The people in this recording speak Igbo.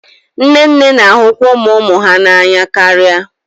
Nne nne na-ahụkwa ụmụ ụmụ ha n'anya karịa